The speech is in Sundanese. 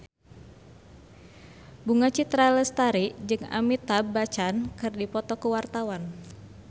Bunga Citra Lestari jeung Amitabh Bachchan keur dipoto ku wartawan